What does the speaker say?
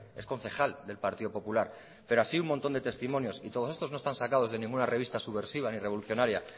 es concejal del partido popular pero así un montón de testimonios y todos estos no están sacados de ninguna revista subversiva ni revolucionaria